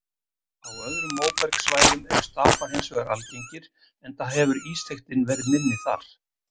Á öðrum móbergssvæðum eru stapar hins vegar algengir enda hefur ísþykktin verið minni þar.